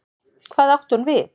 Hvað átti hún við?